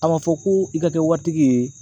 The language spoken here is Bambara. A ma fɔ ko i ka kɛ waritigi ye